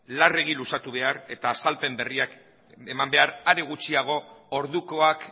larregi luzatu behar eta azalpen berriak eman behar are gutxiago ordukoak